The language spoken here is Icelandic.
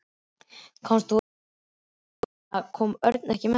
Komst þú einn, ég meina, kom Örn ekki með þér?